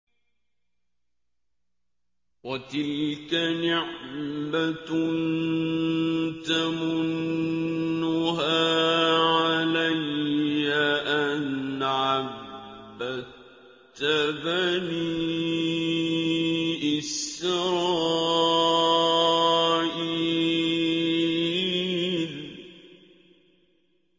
وَتِلْكَ نِعْمَةٌ تَمُنُّهَا عَلَيَّ أَنْ عَبَّدتَّ بَنِي إِسْرَائِيلَ